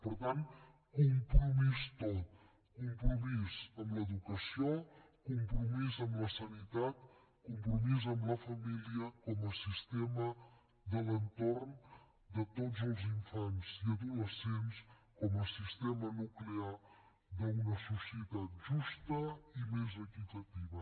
per tant compromís tot compromís amb l’educació compromís amb la sanitat compromís amb la família com a sistema de l’entorn de tots els infants i adolescents com a sistema nuclear d’una societat justa i més equitativa